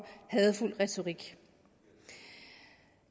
hadefuld retorik